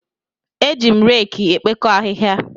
Eji m reeki ekpokọ ahịhịa.